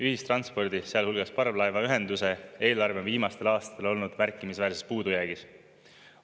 Ühistranspordi, sealhulgas parvlaevaühenduse eelarve on viimastel aastatel olnud märkimisväärses puudujäägis.